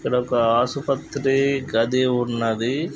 ఇక్కడ ఒక ఆసుపత్రి గది ఉన్నది.